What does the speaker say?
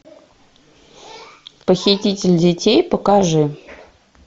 похититель детей покажи